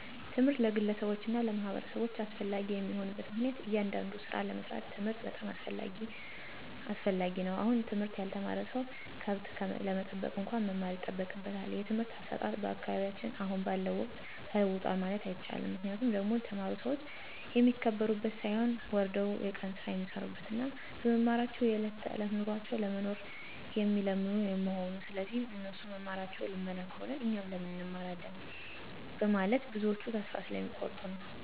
ትምህርት ለግለሰቦች እና ለማህበረሰቦች አስፈላጊ የሆነበት ምክንያቱም እያንዳዱን ስራ ለመስራት ትምህርት በጣም አስፈላጊ ነው አሁን ትምህርት ያልተማረ ሰው ከብት ለመጠበቅ እንኳን መማር ይጠበቅበታል። የትምህርት አሰጣጥ በአካባቢያችን አሁን ባለው ወቅት ተለውጧል ማለት አይቸልም ምክንያቱ ደግሞ የተማሩ ሰዎች የሚከበሩበት ሳይሆን ወርደው የቀን ስራ የሚሰሩበት እና በመማራቸው የዕለት ተዕለት ኑሯቸውን ለመኖር የሚለምኑ መሆኑ ስለዚህ እነሱ መማራቸው ልመና ከሆነ እኛ ለምን እንማራለን በመለት ብዞች ተስፋ ስለሚ ቆርጡ ነዉ።